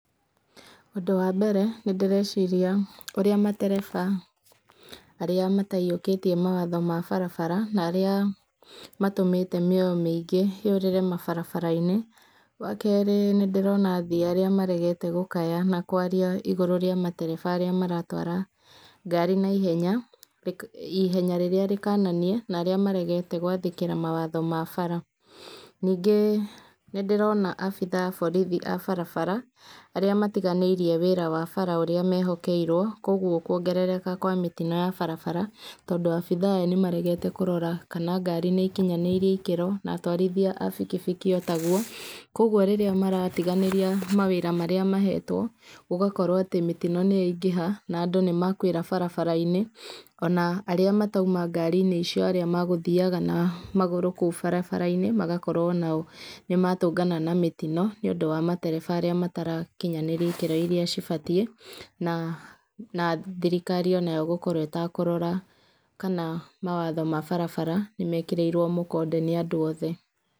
Ũndũ wa mbere, nĩ ndĩreciria ũrĩa matereba arĩa mataiyũkĩtie mawatho ma barabara, na arĩa matũmĩte mĩoyo mĩingĩ yũrĩre mabaraba-inĩ. Wa keerĩ nĩ ndĩrona athii arĩa maregete gũkaya na kwaria igũrũ rĩa matereba arĩa maratwara ngari na ihenya, ihenya rĩrĩa rĩkananie, na arĩa maregete gwathĩkĩra mawatho ma bara. Ningĩ nĩ ndĩrona abithaa a borithi a barabara, arĩa matiganĩirie wĩra wa bara ũrĩa mehokeirwo, kũguo kuongerereka kwa mĩtino ya barabara, tondũ abithaa aya nĩ maregete kũrora kana ngari nĩ ikinyanĩirie ikĩra, na atwarithia a bikibiki o ta guo. Kũguo rĩrĩa maratiganĩria mawĩra marĩa maheetwo, gũgakorwo atĩ mĩtino nĩ yaingĩha, na andũ nĩ makuĩra barabara-inĩ, ona arĩa matauma ngari-inĩ icio arĩa magũthiaga na magũrũ kũu barabara-inĩ, magakorwo onao nĩ matũngana na mĩtino, níĩũndũ wa matereba arĩa matarakinyanĩrio ikĩro irĩa cibatiĩ. Na na thirikari onayo gũkorwo ĩtakũrora kana mawatho ma barabara, nĩ mekĩrĩirwo mũkonde nĩ andũ othe.